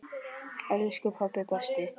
Elsku pabbi, besti pabbi.